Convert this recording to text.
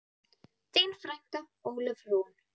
Þín frænka, Ólöf Rún.